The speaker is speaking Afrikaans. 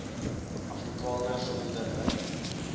afrikaners onder n